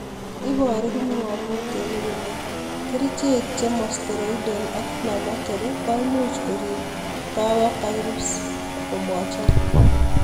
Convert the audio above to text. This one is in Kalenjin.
Ibaru kipngamutinik kole krichek chema steroidal ak inflammatory koimuchi korib bower poryps mochobok